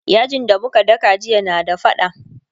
yajin da muka daka jiya na da faɗa